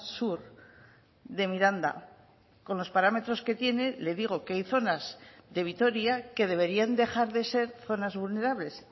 sur de miranda con los parámetros que tiene le digo que hay zonas de vitoria que deberían dejar de ser zonas vulnerables